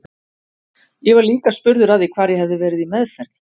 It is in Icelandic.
Ég var líka spurður að því hvar ég hefði verið í meðferð.